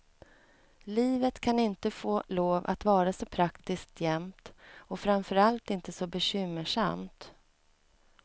Livet kan inte få lov att vara så praktiskt jämt och framförallt inte så bekymmersamt.